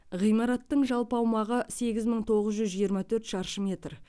ғимараттың жалпы аумағы сегіз мың тоғыз жүз жыирма төрт шаршы метр